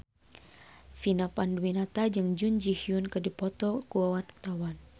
Vina Panduwinata jeung Jun Ji Hyun keur dipoto ku wartawan